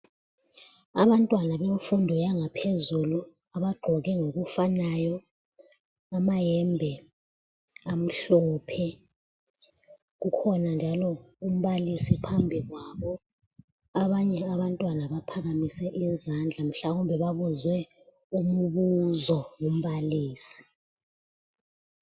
Abantwana bemfundo yangaphezulu abagqoke ngokufanayo amayembe amhlophe. Kukhona njalo umbalisi phambi kwabo. Abanye abantwana baphakamise izandla mhlawumbe babuzwe umbuzo ngumbalisi.